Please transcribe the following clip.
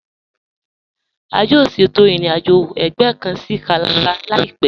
A yóò ṣétò ìrìn-àjọ̀ ẹgbẹ̀ kàn sí Calabar láìpẹ̀.